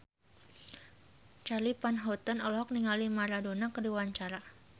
Charly Van Houten olohok ningali Maradona keur diwawancara